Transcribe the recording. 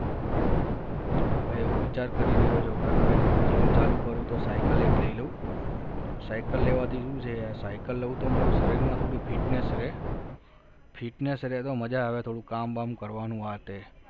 હવે એવું વિચાર કરી રહ્યો છું કે હવે તો gym ચાલુ કરું તો cycle એક લઈ લઉં. cycle લેવાથી શું છે યાર cycle લઉં તો મારું શરીરમાં થોડી fitness રહે fitness રહે તો મજા આવે થોડું કામ બામ કરવાનું આતે